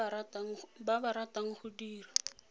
ba ba ratang go dira